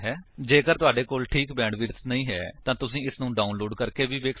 ਜੇਕਰ ਤੁਹਾਡੇ ਕੋਲ ਠੀਕ ਬੈਂਡਵਿਡਥ ਨਹੀਂ ਹੈ ਤਾਂ ਤੁਸੀ ਇਸਨੂੰ ਡਾਉਨਲੋਡ ਕਰਕੇ ਵੀ ਵੇਖ ਸੱਕਦੇ